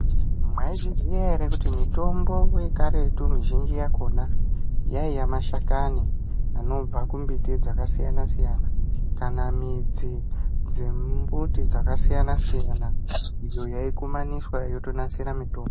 Maizviziva here, kuti mitombo wekaretu zhinji yakona yaiwa mashakani anobva kumiti dzakasiyana siyana, kana midzi dzemuti dzakasiyana siyana idzo yayikumaniswa yotonasira mitombo.